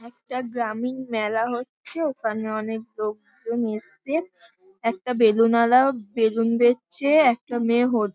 একটা গ্রামীণ মেলা হচ্ছে। ওখানে অনেক লোকজন এসছে । একটা বেলুন ওয়ালাও বেলুন বেচছে একটা মেয়ে হোদ--